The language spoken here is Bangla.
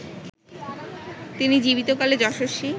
তিনি জীবিতকালে যশস্বী